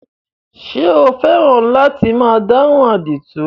Ṣé o fẹ́ràn láti máa dáhùn àdìtú?